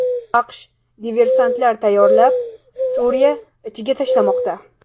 AQSh diversantlar tayyorlab, Suriya ichiga tashlamoqda.